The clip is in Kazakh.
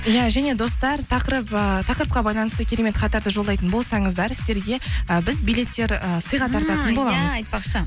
иә және достар ыыы тақырыпқа байланысты керемет хаттарды жолдайтын болсаңыздар сіздерге і біз билеттер ы сыйға тартатын боламыз иә айтпақшы